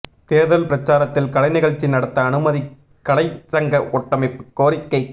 தேர்தல் பிரசாரத்தில் கலைநிகழ்ச்சி நடத்த அனுமதி கலை சங்க கூட்டமைப்பு கோரிக்கை